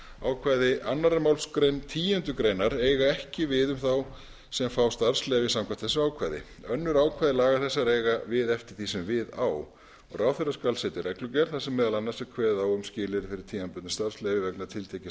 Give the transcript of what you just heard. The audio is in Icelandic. ákvæði annarrar málsgreinar tíundu greinar eiga ekki við um þá sem fá starfsleyfi samkvæmt þessi ákvæði önnur ákvæði laga þessara eiga við eftir því sem við á ráðherra skal setja reglugerð þar sem meðal annars er kveðið á um skilyrði fyrir tímabundnu starfsleyfi vegna tiltekins